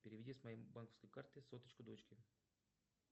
переведи с моей банковской карты соточку дочке